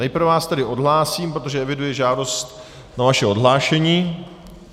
Nejprve vás tedy odhlásím, protože eviduji žádost o vaše odhlášení.